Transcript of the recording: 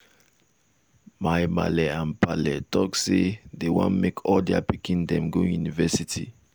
my maale and paale talk say dey wan make all their pikin dem go university.